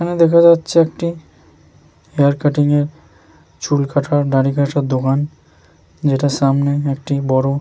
এখানে দেখা যাচ্ছে একটি হেয়ার কাটিং এর চুল কাটার দাড়ি কাটার দোকান যেটার সামনে একটি বড়ো --